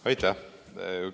Aitäh!